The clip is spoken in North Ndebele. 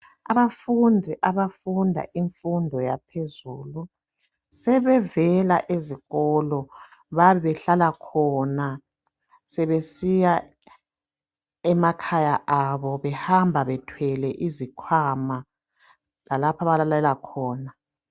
Abafundi abafunda imfundo yaphezulu, sebevela ezikolo bayabe behlala khona sebesiya emakhaya abo behamba bethwele izikhwama lalapho abalalela khona